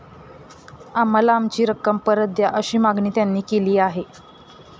आम्हाला आमची रक्कम परत द्या, अशी मागणी त्यांनी केली आहे.